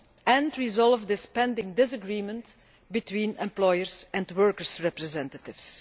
and resolve this pending disagreement between employers' and workers' representatives.